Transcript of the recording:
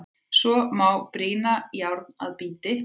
Svo má brýna járn að bíti.